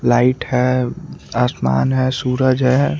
Light है आसमान है सूरज है।